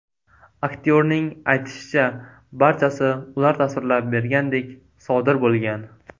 Aktyorning aytishicha, barchasi ular tasvirlab bergandek sodir bo‘lgan.